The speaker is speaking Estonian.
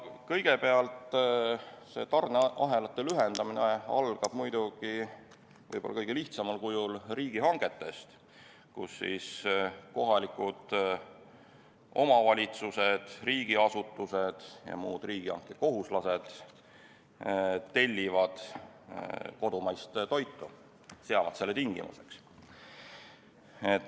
Kõigepealt, see tarneahelate lühendamine algab võib-olla kõige lihtsamal kujul riigihangetest, mille korral kohalikud omavalitsused, riigiasutused ja muud riigihankekohuslased tellivad kodumaist toitu, seavad selle tingimuseks.